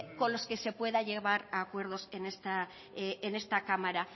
con los que se pueda llegar a acuerdos en esta cámara